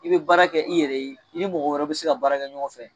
I be baara kɛ, i yɛrɛ ye, i ni mɔgɔ wɛrɛw bi se ka baara kɛ ɲɔgɔn fɛ.